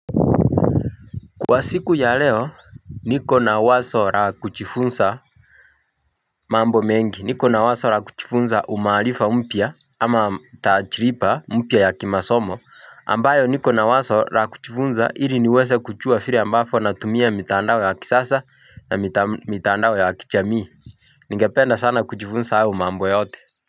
Kwa siku ya leo niko na waso ra kuchifunza mambo mengi niko na waso rakuchifunza umaalifa mpya ama tachiripa mpya ya kimasomo ambayo niko na waso rakuchifunza hiri niweze kuchua fire ambafo natumia mitandao ya kisasa na mitandao ya kichamii ningependa sana kuchifunza ahu mambo yote.